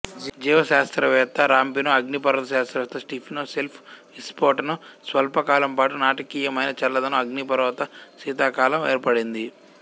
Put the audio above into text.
జీవశాస్త్రవేత్త Rampino అగ్నిపర్వత శాస్త్రవేత్త Stephen Self విస్ఫోటనం స్వల్పకాలం పాటు నాటకీయమైన చల్లదనం అగ్నిపర్వత శీతాకాలం ఏర్పడింది